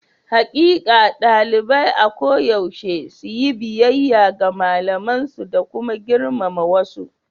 Hakkin ɗalibai a koyaushe su yi biyayya ga malamansu da kuma girmama wasu.